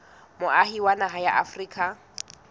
moahi wa naha ya afrika